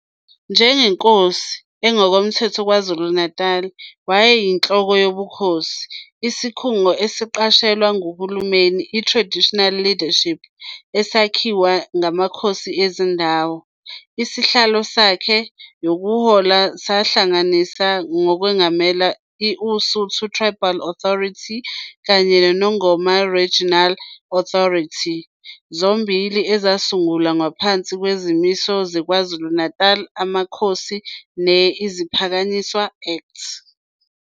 Njengenkosi engokomthetho KwaZulu-Natal, wayeyinhloko yobukhosi, isikhungo esiqashelwa nguHulumeni i-Traditional Leadership esakhiwa ngamakhosi ezindawo. Isihlalo sakhe yokuhola sahlanganisa nokwengamela i-Usuthu Tribal Authority kanye ne-Nongoma Regional Authority, zombili ezasungulwa ngaphansi kwezimiso ze-KwaZulu Amakhosi ne-Iziphakanyiswa Act.